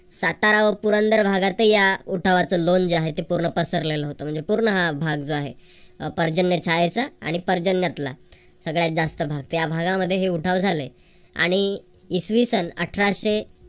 सातारा व पुरंदर भागातही या उठायचं लोण जे आहे ते पूर्ण पसरलेलं होतं. म्हणजे पूर्ण हा भाग जो आहे म्हणजे पर्जन्य छायेचा आणि पर्जन्यातला सगळ्यात जास्त भाग या भागांमध्ये हे उठाव झाले. आणि इसवीसन अठराशे